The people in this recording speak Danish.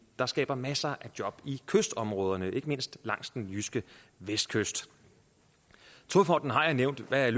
der skaber masser af job i kystområderne ikke mindst langs den jyske vestkyst togfonden har jeg nævnt hvad